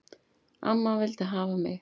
Amma vildi hafa mig.